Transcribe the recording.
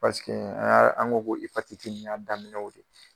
Paseke an y'a an ko ko ipatiti in y'a daminɛw de